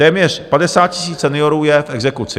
Téměř 50 000 seniorů je v exekuci.